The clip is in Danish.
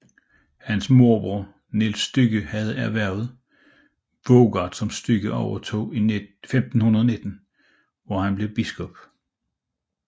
Hans morbror Niels Stygge havde erhvervet Voergaard som Stygge overtog i 1519 hvor han blev biskop